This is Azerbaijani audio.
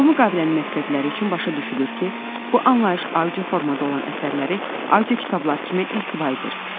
Bu müqavilənin məqsədləri üçün başa düşülür ki, bu anlayış audio formada olan əsərləri audio kitablar kimi ehtiva edir.